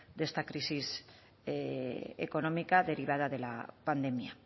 de esta crisis económica derivada de la pandemia